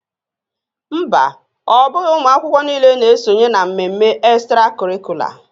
Mba, ọ bụghị ụmụ akwụkwọ niile na-esonye na mmemme extracurricular